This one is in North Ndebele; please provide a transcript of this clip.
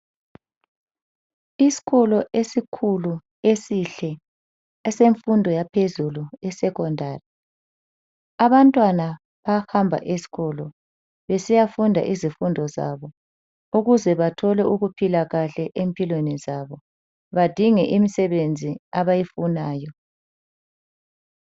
Isikolo esikhulu esihle esemfundo yaphezulu e secondary abantwana bahamba esikolo besiya funda izifundo zabo ukuze bathole ukuphila kahle empilweni zabo badingele imsebenzi abayifunayo.